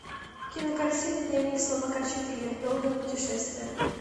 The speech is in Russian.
кинокартина дневник слабака четыре долгое путешествие